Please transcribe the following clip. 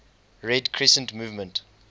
red crescent movement